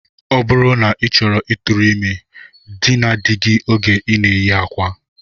Ọ bụrụ na ị chọrọ ịtụrụ ime, dinaa di gị oge ị na-eyi akwa!